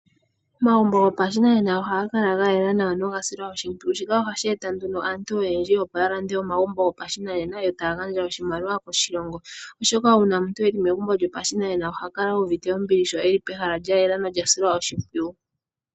Omagumbo gopashinanena ohaga kala ga yela nawa noga silwa oshimpwiyu. Shika ohashi eta nduno aantu oyedji opo ya lande omagumbo gopashinanena yo taya gadja oshimaliwa koshilongo oshoka uuna omuntu eli megumbo lyopashinanena oha kala uuvite ombili sho eli pehala lya yela nolya silwa oshimpwiyu.